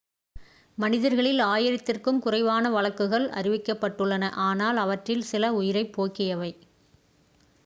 மனிதர்களில் ஆயிரத்திற்கும் குறைவான வழக்குகள் அறிவிக்கப்பட்டுள்ளன ஆனால் அவற்றில் சில உயிரைப் போக்கியவை